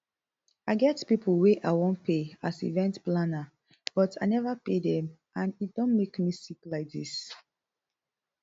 i get pipo wey i wan pay as event planner but i neva pay dem and e don make me sick like dis